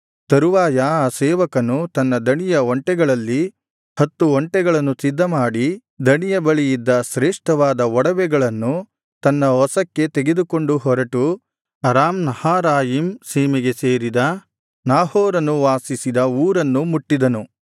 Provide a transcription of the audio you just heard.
ತರುವಾಯ ಆ ಸೇವಕನು ತನ್ನ ದಣಿಯ ಒಂಟೆಗಳಲ್ಲಿ ಹತ್ತು ಒಂಟೆಗಳನ್ನು ಸಿದ್ಧಮಾಡಿ ದಣಿಯ ಬಳಿಯಿದ್ದ ಶ್ರೇಷ್ಠವಾದ ಒಡವೆಗಳನ್ನು ತನ್ನ ವಶಕ್ಕೆ ತೆಗೆದುಕೊಂಡು ಹೊರಟು ಅರಾಮ್ ನಾಹಾರಾಯಿಮ್ ಸೀಮೆಗೆ ಸೇರಿದ ನಾಹೋರನು ವಾಸಿಸಿದ ಊರನ್ನು ಮುಟ್ಟಿದನು